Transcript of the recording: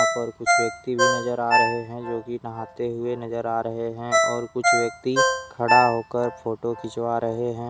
पर कुछ व्यक्ति भी नजर आ रहे हैं जो की नहाते हुए नजर आ रहे हैं और कुछ व्यक्ति खड़ा होकर फोटो खिंचवा रहे हैं।